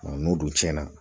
n'o dun cɛnna